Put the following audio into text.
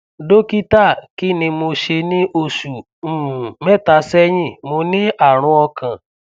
dókítà kí ni mo ṣe ní oṣù um mẹta sẹyìn mo ní àrùn ọkàn